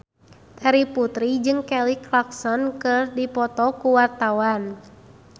Terry Putri jeung Kelly Clarkson keur dipoto ku wartawan